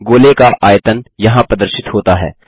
गोले का आयतन यहाँ प्रदर्शित होता है